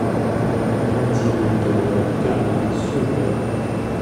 найди на тв канал супер